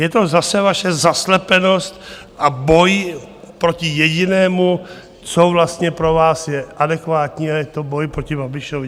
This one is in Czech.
Je to zase vaše zaslepenost a boj proti jedinému, co vlastně pro vás je adekvátní a to je boj proti Babišovi.